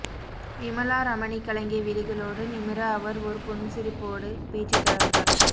விமலா ரமணி கலங்கிய விழிகளோடு நிமிர அவர் ஒரு புன்சிரிப்போடு பேச்சைத் தொடர்ந்தார்